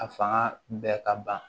A fanga bɛɛ ka ban